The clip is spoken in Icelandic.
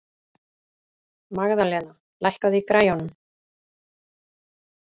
Magðalena, lækkaðu í græjunum.